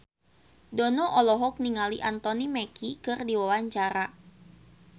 Dono olohok ningali Anthony Mackie keur diwawancara